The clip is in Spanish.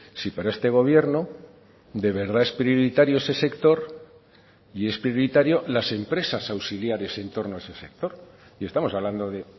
si para este gobierno de verdad es prioritario ese sector y es prioritario las empresas auxiliares en torno a ese sector y estamos hablando de